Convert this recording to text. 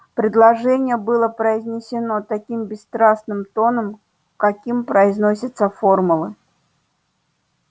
предложение было произнесено таким бесстрастным тоном каким произносятся формулы